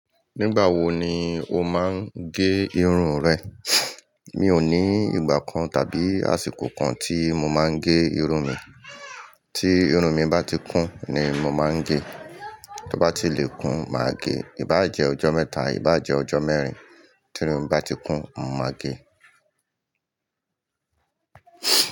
Nígbà wo ni o máa ń gé irun rẹ? Mi ò ní ìgbà kan tàbí àsìkò kan tí mo máa ń gé irun mi. Tí irun mi bá ti kún ni mo máa ń gé. Tó bá ti lè kún, màá gé. Í bá jẹ́ ọjọ́ mẹ́ta, í bá jẹ́ ọjọ́ mẹ́rin, tí irun mi bá ti kún, mọ máa gé.